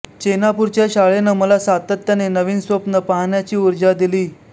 चेनापूरच्या शाळेनं मला सातत्याने नवीन स्वप्न पाहण्याची ऊर्जा दिली